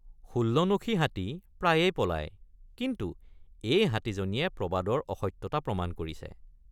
১৬ নখী হাতী প্ৰায়েই পলায় কিন্তু এই হাতী জনীয়ে প্ৰবাদৰ অসত্যতা প্ৰমাণ কৰিছে।